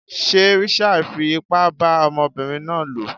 Sé Richard fi ipá bá ọmọbinrin náà lò?